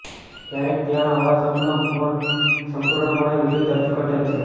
ક્યારેક ત્યાં આવા સપના પણ સંપૂર્ણપણે વિરુદ્ધ અર્થઘટન છે